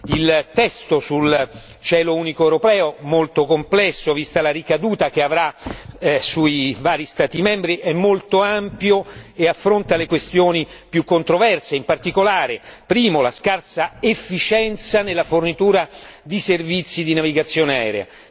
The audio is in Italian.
Il testo sul cielo unico europeo, molto complesso vista la ricaduta che avrà sui vari Stati membri, è molto ampio e affronta le questioni più controverse, in particolare, primo, la scarsa efficienza nella fornitura di servizi di navigazione aerea